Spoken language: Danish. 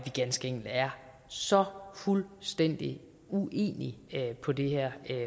ganske enkelt er så fuldstændig uenige på det her